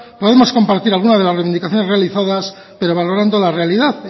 podemos compartir algunas de las reivindicaciones realizadas pero valorando la realidad